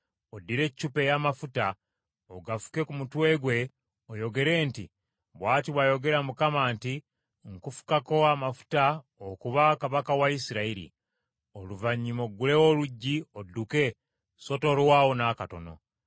Oddire eccupa ey’amafuta, ogafuke ku mutwe gwe, oyogere nti, ‘Bw’ati bw’ayogera Mukama nti: Nkufukako amafuta okuba kabaka wa Isirayiri.’ Oluvannyuma oggulewo oluggi odduke, so tolwawo n’akatono.”